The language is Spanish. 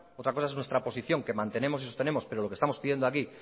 otra cosa es nuestra posición que mantenemos y sostenemos pero lo que estamos pidiendo aquí